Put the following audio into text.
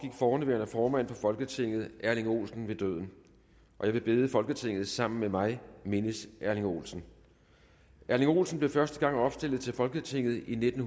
forhenværende formand for folketinget erling olsen ved døden jeg vil bede folketinget sammen med mig mindes erling olsen erling olsen blev første gang opstillet til folketinget i nitten